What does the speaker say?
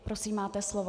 Prosím, máte slovo.